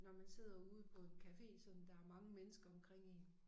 Når man sidder ude på en café sådan der mange mennesker omkring én